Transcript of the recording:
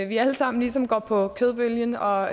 vi alle sammen ligesom går med på kødbølgen og